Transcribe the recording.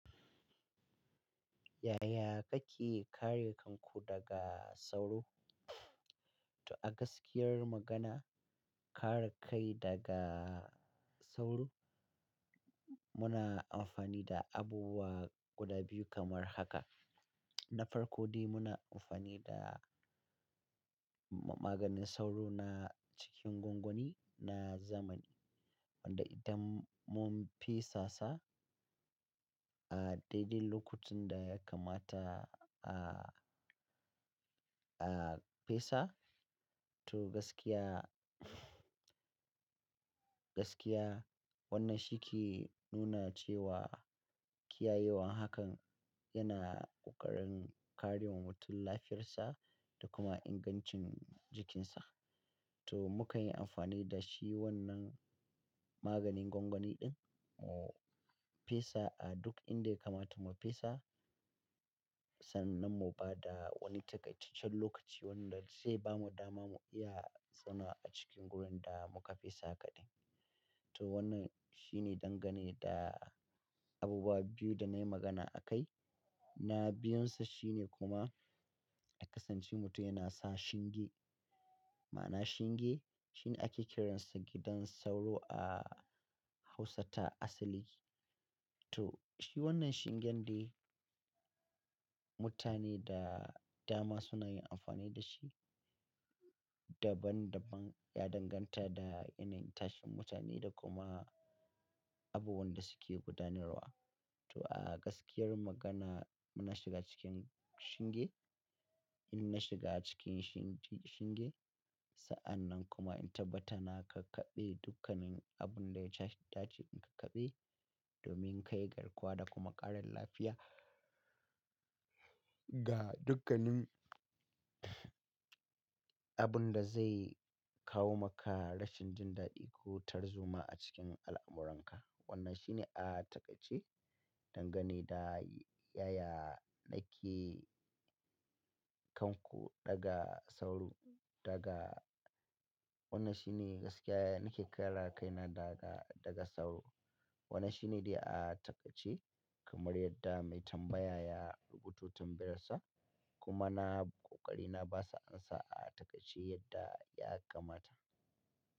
Yaya kake kare kanku daga sauro? To a gaskiyar magana, kare kai daga sauro muna amfani da abubuwa guda biyu kamar haka. Na farko dai muna amfani da maganin sauro na cikin gwangwani na zamani wanda idan mun fesa sa, a daidai lokacin da ya kamata a, a fesa to gaskiya, gaskiya wannan shi ke nuna cewa kiyayewan hakan yana ƙoƙarin karewa mutun lafiyar sa da kuma ingancin jikin sa. To mukan yi amfani da shi wannan maganin gwangwani ɗin mu fesa a duk inda ya kamata mu fesa sannan mu ba da wani takaitaccen lokaci wanda zai bamu dama mu iya zama a cikin wurin da muka fesa kaɗai. To wannan shine dangane da abubuwa biyu da nayi magana a kai. Na biyun sa shine kuma ya kasance mutum yana sa shinge. Ma'ana shinge shine ake kiran sa gidan sauro a Hausa ta asali. To shi wannan shingen dai mutane da dama suna yin amfani da shi. Daban-daban ya danganta da yanayin tashin mutane da kuma abubuwan da suke gudanarwa. To a gaskiyar magana muna shiga cikin shinge. In na shiga cikin shinge sa'annan kuma in tabbatar na kakkaɓe dukkanin abun da ya dace in kakkaɓe domin ka yi garkuwa da kuma ƙarin lafiya ga dukkanin abun da zai kawo maka rashin jin daɗi ko tarzoma a cikin al'amuranka. Wannan shine a takaitacce dangane da yaya nake kan ku daga sauro, daga wannan shine gaskiya nake kare kaina daga, daga sauro. Wannan shine dai a takaice kamar yadda mai tambaya ya rubuto tambayarsa kuma na ƙoƙari na ba sa ansa a takaice yadda ya kamata.